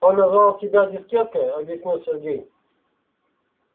он назвал тебя дискеткой объяснил сергей